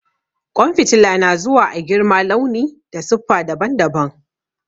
Ƙwan fitila na zuwa a girma, launi da siffa daban-daban.